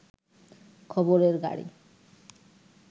খবরের গাড়ি